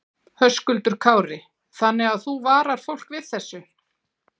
Höskuldur Kári: Þannig að þú varar fólk við þessu?